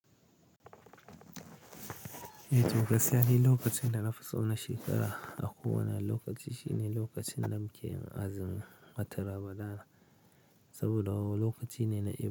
To gaskiya ni lokachinda nafiso na shekara akowane lokachi shine lokachin da mukeyin azumin watan ramadana saboda lokachine na.